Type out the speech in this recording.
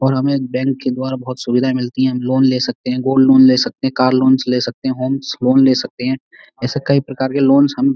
और हमें एक बैंक के द्वारा बहोत सुविधा मिलती है। हम लोन ले सकते हैं गोल्ड लोन ले सकते हैं कार लोन ले सकते हैं होम्स लोन ले सकते हैं। ऐसे ही कई प्रकार के लोन्स हम --